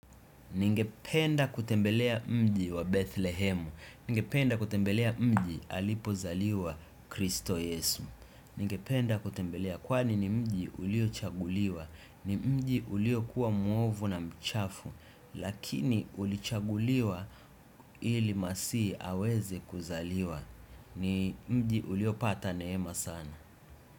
Ningependa kutembelea mji wa Bethlehemu, ningependa kutembelea mji alipozaliwa Kristo Yesu, ningependa kutembelea kwani ni mji uliochaguliwa, ni mji ulio kuwa muovu na mchafu, lakini ulichaguliwa ili masii aweze kuzaliwa, ni mji ulio pata neema sana.